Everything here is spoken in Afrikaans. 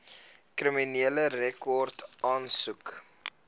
kriminele rekord aansoek